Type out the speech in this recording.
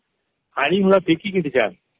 ହାଡ଼ି ଗୁଡା ବିକି କିନା ଯାନ